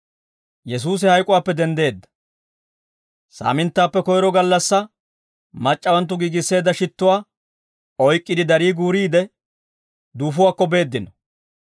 Saaminttaappe koyro gallassaa, mac'c'awanttu giigisseedda shittuwaa oyk'k'iide darii guuriide duufuwaakko beeddino.